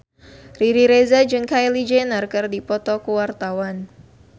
Riri Reza jeung Kylie Jenner keur dipoto ku wartawan